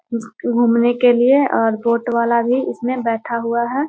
घूमने के लिए और बोट वाला भी इसमें बैठा हुआ है।